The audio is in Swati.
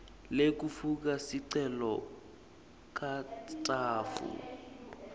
lekufaka sicelo katsatfu